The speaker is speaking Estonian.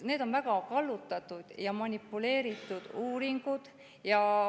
Need on väga kallutatud ja manipuleeritud uuringud.